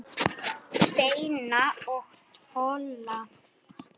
Steina og Tolla?